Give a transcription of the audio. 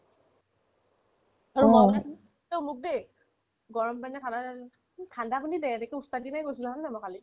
অ তই মোক দেই গৰম পানী খাবা নানা মোক ঠাণ্ডা পানী দে সেইটো ওস্তাদিতে কৈছিলো হয়নে নহয় মই কালি